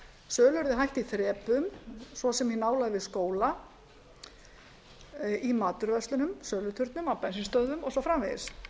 sölu yrði hætt í þrepum svo sem í nálægð við skóla í matvöruverslunum söluturnum á bensínstöðvum og svo framvegis